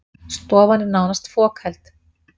Stofan er nánast fokheld